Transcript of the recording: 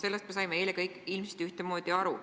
Sellest me saime eile kõik ilmselt ühtemoodi aru.